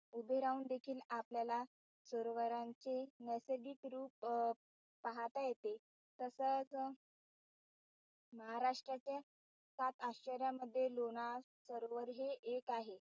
उभे राहून देखील आपल्याला सरोवरांचे नैसर्गिकरूप अं पाहता येते तसच महाराष्ट्राच्या सात आश्चर्यांमध्ये लोणार सरोवर हे एक आहे.